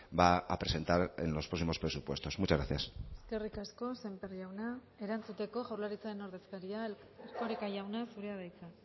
va a presentar en los próximos presupuestos muchas gracias eskerrik asko sémper jauna erantzuteko jaurlaritzaren ordezkaria erkoreka jauna zurea da hitza